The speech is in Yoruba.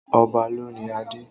Ọba lóni adé.